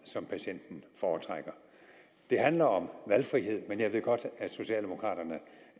som patienten foretrækker det handler om valgfrihed men jeg ved godt at socialdemokraterne